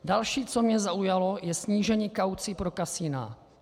Další, co mě zaujalo, je snížení kaucí pro kasina.